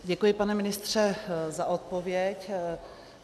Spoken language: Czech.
Děkuji, pane ministře, za odpověď.